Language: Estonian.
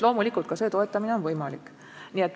Loomulikult, ka see toetamine on võimalik.